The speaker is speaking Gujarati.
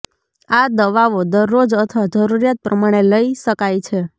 આ દવાઓ દરરોજ અથવા જરૂરીયાત પ્રમાણે લઈ શકાય છે